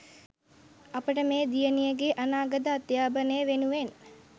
අපට මේ දියණියගේ අනාගත අධ්‍යාපනය වෙනුවෙන්